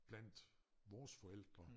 Blandt vores forældre